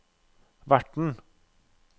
verten